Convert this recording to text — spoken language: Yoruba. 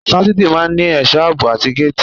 Fásitì máa ń ní ẹ̀sọ́ àbò àti géètì.